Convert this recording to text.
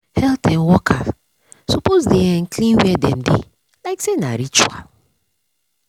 health um worker suppose dey um clean where um dem dey like say na ritual.